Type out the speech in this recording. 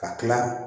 Ka tila